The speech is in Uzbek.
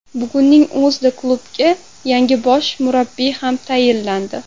Bugunning o‘zida klubga yangi bosh murabbiy ham tayinlandi.